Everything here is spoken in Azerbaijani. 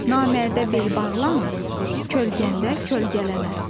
Namərdə bel bağlama, kölgəndə kölgələnə.